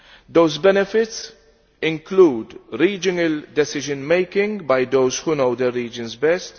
Those benefits include regional decision making by those who know the regions best.